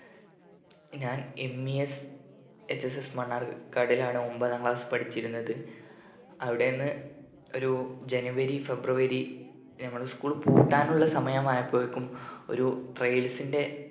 ഞാൻ MESHSS മണ്ണാർ കാടിലാണ്‌ ഒമ്പതാം class പഠിച്ചിരുന്നത് അവിടെന്ന് ഒരു january february നമ്മളെ school പൂട്ടാനുള്ള സമയമായപ്പോയേക്കും ഒരു trials ന്റെ